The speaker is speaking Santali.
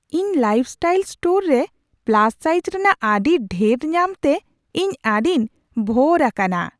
ᱤᱧ ᱞᱟᱭᱤᱯᱷᱥᱴᱟᱭᱤᱞ ᱥᱴᱳᱨ ᱨᱮ ᱯᱞᱟᱥ ᱥᱟᱭᱤᱡ ᱨᱮᱱᱟᱜ ᱟᱹᱰᱤ ᱰᱷᱮᱨ ᱧᱟᱢᱛᱮ ᱤᱧ ᱟᱹᱰᱤᱧ ᱵᱷᱳᱨ ᱟᱠᱟᱱᱟ ᱾